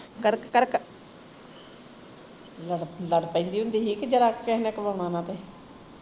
ਲੜ ਪੈਂਦੀ ਹੁੰਦੀ ਸੀ ਕਿ ਜਰਾ ਕੁ ਕਿਸੇ ਨੇ ਘਮਾਉਣਾ ਨਾ ਤੇ